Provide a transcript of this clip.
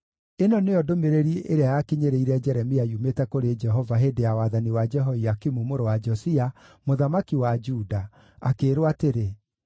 Ĩno nĩyo ndũmĩrĩri ĩrĩa yakinyĩrĩire Jeremia yumĩte kũrĩ Jehova hĩndĩ ya wathani wa Jehoiakimu mũrũ wa Josia, mũthamaki wa Juda, akĩĩrwo atĩrĩ: